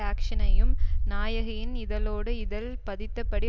ஆக்ஷனையும் நாயகியின் இதழோடு இதழ் பதித்தபடி